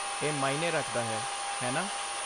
ਇਹ ਮਾਇਨੇ ਰੱਖਦਾ ਹੈ, ਹੈ ਨਾ?